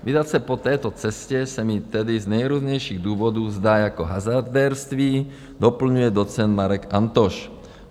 Vydat se po této cestě se mi tedy z nejrůznějších důvodů zdá jako hazardérství, doplňuje docent Marek Antoš.